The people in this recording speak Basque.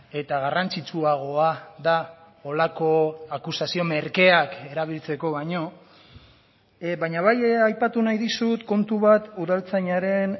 eta garrantzitsuagoa da holako akusazio merkeak erabiltzeko baino baina bai aipatu nahi dizut kontu bat udaltzainaren